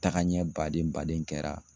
Tagaɲɛ baden baden kɛra.